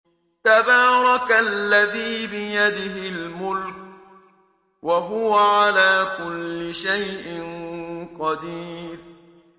تَبَارَكَ الَّذِي بِيَدِهِ الْمُلْكُ وَهُوَ عَلَىٰ كُلِّ شَيْءٍ قَدِيرٌ